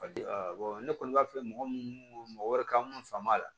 ne kɔni b'a fɛ mɔgɔ munnu mɔgɔ wɛrɛ ka mun faam'a la